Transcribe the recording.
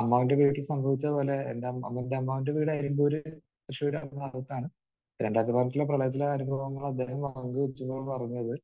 അമ്മാവന്റെ വീട്ടിൽ സംഭവിച്ചത് പോലെ എന്റെ അമ്മാവന്റെ വീട് അരിമ്പൂർ തൃശൂർ ആ ഭാഗത്താണ്. രണ്ടായിരത്തിപ്പതിനെട്ടിലെ പ്രളയത്തിലെ അനുഭവങ്ങൾ അദ്ദേഹം വിളിച്ചപ്പോഴാണ് പറഞ്ഞത്.